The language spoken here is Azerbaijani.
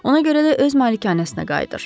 Ona görə də öz malikanəsinə qayıdır.